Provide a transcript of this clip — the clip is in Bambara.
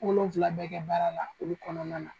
Wolonfila bɛɛ kɛ baara la olu kɔnɔna na.